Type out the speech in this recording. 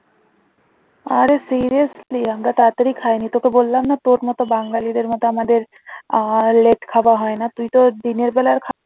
আরে seriously আমরা তাড়াতাড়ি খাইনি তোকে বললাম না তোর মত বাঙ্গালীদের মত আমাদের আর late খাবার হয় না তুইতো দিনের বেলার খাবার